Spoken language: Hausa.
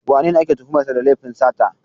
Wanene ake tuhumar sa da laifin sata?